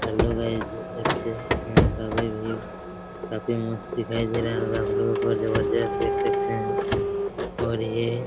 hello guys देख सकते हैं यहाँ का व्यू भी काफी मस्त दिखाई दे रहा होगा आप लोगों को और जबरदस्त देख सकते हैं और ये --